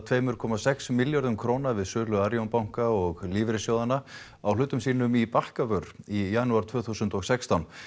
tvö komma sex millljörðum króna við sölu Arion banka og lífeyrissjóðanna á hlutum sínum í Bakkavör í janúar tvö þúsund og sextán